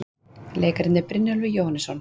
Leikararnir, Brynjólfur Jóhannesson